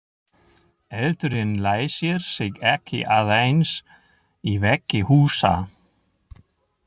Eldurinn læsir sig ekki aðeins í veggi húsa.